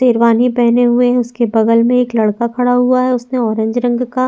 शेरवानी पहने हुए है उसके बगल में एक लड़का खड़ा हुआ है उसने ऑरेंज रंग का --